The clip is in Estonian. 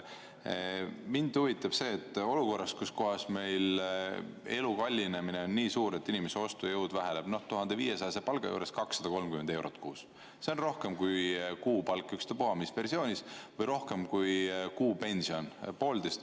Mind huvitab see, et olukorras, kus kohas meil elu kallinemine on nii suur, et inimeste ostujõud väheneb 1500-eurose palga juures 230 eurot kuus, see on rohkem kui kuupalk, ükstapuha mis versioonis, või rohkem kui kuupension.